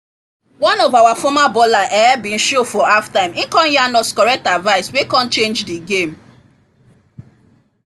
one of our former baller um been show for halftime e come yarn us correct advice wey come change the game